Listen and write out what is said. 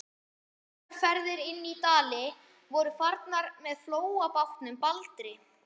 Þessar ferðir inn í Dali voru farnar með flóabátnum Baldri.